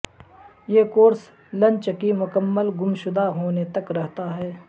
یہ کورس لچن کی مکمل گمشدہ ہونے تک رہتا ہے